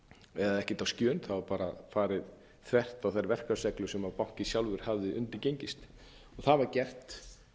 eða ekkert á skjön þá var bara farið þvert á þær verklagsreglur sem bankinn sjálfur hafði undirgengist það var gert